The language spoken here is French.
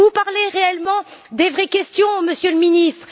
Vous parlez réellement des vraies questions, Monsieur le Ministre.